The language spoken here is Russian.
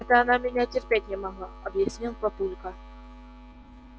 это она меня терпеть не могла объяснил папулька